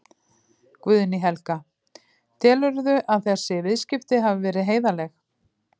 Guðný Helga: Telurðu að þessi viðskipti hafi verið heiðarleg?